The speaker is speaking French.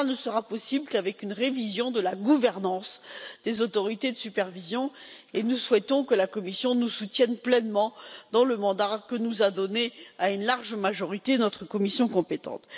Cela ne sera possible qu'avec une révision de la gouvernance des autorités de supervision, et nous souhaitons que la Commission nous soutienne pleinement dans le mandat que nous a donné, à une large majorité, notre commission compétente.